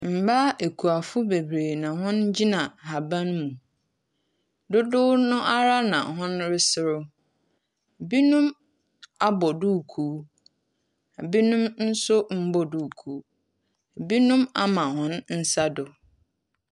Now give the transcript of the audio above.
Mbaa ekuafo beberee na hɔn gyina haban mu. Dodow no ara na hɔn reserew. Binom abɔ duukuu. Binom nso mbɔɔ duukuu. Binom ama hɔn nsa do.